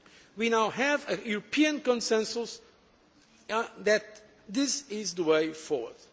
We now have a European consensus that this is the way forward.